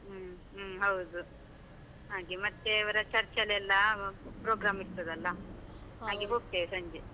ಹ್ಮ್ ಹ್ಮ್ ಹೌದು, ಹಾಗೆ ಮತ್ತೆ ಅವರ church ಅಲ್ಲೆಲ್ಲ program ಇರ್ತದಲ್ಲಾ, ಹೋಗ್ತೇವೆ ಸಂಜೆ.